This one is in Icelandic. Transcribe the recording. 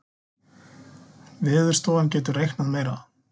Veðurstofan getur reiknað meira